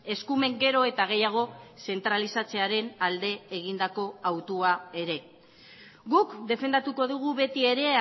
eskumen gero eta gehiago zentralizatzearen alde egindako hautua ere guk defendatuko dugu beti ere